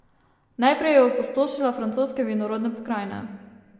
Najprej je opustošila francoske vinorodne pokrajine.